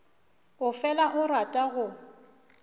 o fela a rata go